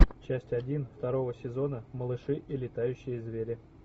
часть один второго сезона малыши и летающие звери